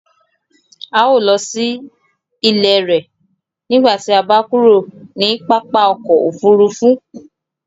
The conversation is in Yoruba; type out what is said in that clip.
Ào lọ sí ilẹ̀ rẹ̀ nígbàtí à bá kúrò ni pápá ọkọ̀ òfurufú